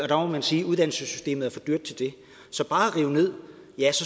der må man sige at uddannelsessystemet er for dyrt til det bare at rive ned